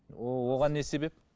оған не себеп